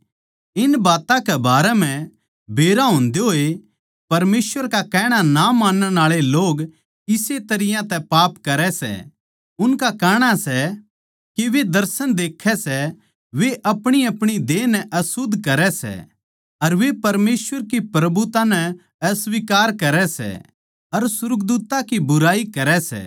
इन बात्तां के बारें म्ह बेरा होंदे होए परमेसवर का कहणा ना मानण आळे लोग इस्से तरियां तै पाप करै सै उनका कहणा सै के वे दर्शन देक्खै सै वे अपणीअपणी देह नै अशुध्द करै सै अर वे परमेसवर की प्रभुता नै अस्वीकार करै सै अर सुर्गदूत्तां की बुराई करै सै